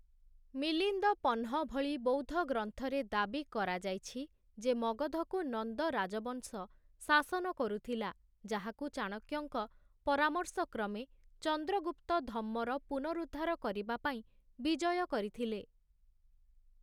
ମିଲିନ୍ଦପନ୍‌ହ ଭଳି ବୌଦ୍ଧ ଗ୍ରନ୍ଥରେ ଦାବୀ କରାଯାଇଛି ଯେ ମଗଧକୁ ନନ୍ଦ ରାଜବଂଶ ଶାସନ କରୁଥିଲା, ଯାହାକୁ ଚାଣକ୍ୟଙ୍କ ପରାମର୍ଶକ୍ରମେ ଚନ୍ଦ୍ରଗୁପ୍ତ ଧମ୍ମର ପୁନରୁଦ୍ଧାର କରିବା ପାଇଁ ବିଜୟ କରିଥିଲେ ।